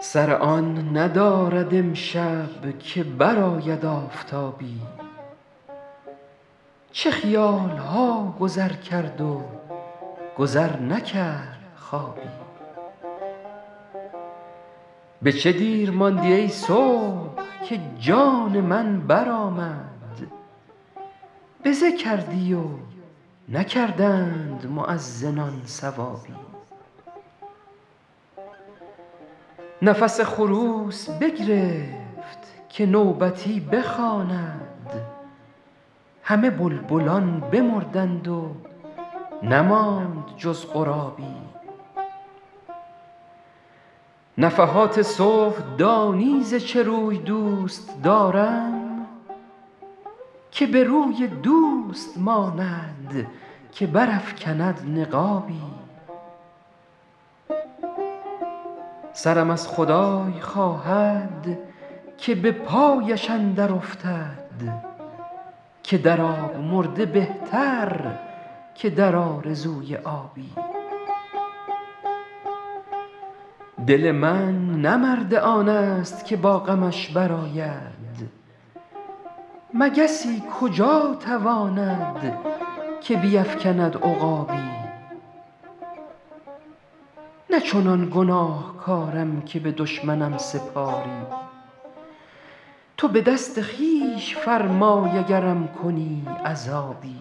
سر آن ندارد امشب که برآید آفتابی چه خیال ها گذر کرد و گذر نکرد خوابی به چه دیر ماندی ای صبح که جان من برآمد بزه کردی و نکردند مؤذنان ثوابی نفس خروس بگرفت که نوبتی بخواند همه بلبلان بمردند و نماند جز غرابی نفحات صبح دانی ز چه روی دوست دارم که به روی دوست ماند که برافکند نقابی سرم از خدای خواهد که به پایش اندر افتد که در آب مرده بهتر که در آرزوی آبی دل من نه مرد آن ست که با غمش برآید مگسی کجا تواند که بیفکند عقابی نه چنان گناهکارم که به دشمنم سپاری تو به دست خویش فرمای اگرم کنی عذابی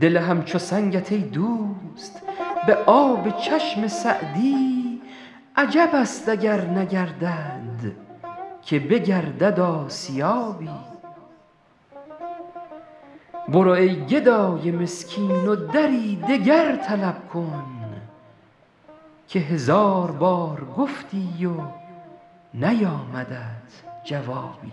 دل همچو سنگت ای دوست به آب چشم سعدی عجب است اگر نگردد که بگردد آسیابی برو ای گدای مسکین و دری دگر طلب کن که هزار بار گفتی و نیامدت جوابی